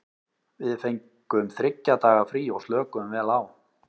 Við fengum þriggja daga frí og slökuðum vel á.